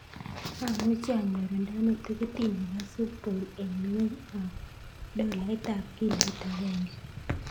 Amuchi anyorundane tikitit nebo supe bowl en ng'weny ab dolait ab kiloit agenge